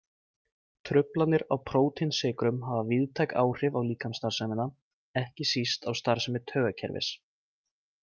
Truflanir á prótínsykrun hafa víðtæk áhrif á líkamsstarfsemina, ekki síst á starfsemi taugakerfis.